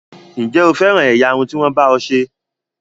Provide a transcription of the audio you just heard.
Ǹjẹ́ o féràn ẹ̀yà irun tí wọ́n bá ọ ṣe?